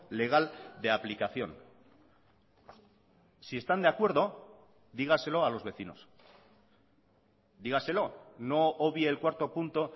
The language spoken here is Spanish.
legal de aplicación si están de acuerdo dígaselo a los vecinos dígaselo no obvie el cuarto punto